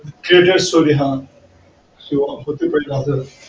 created story ह